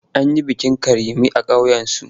An yi bikin Karime a ƙauyensu.